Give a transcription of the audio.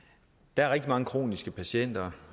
der er rigtig mange kroniske patienter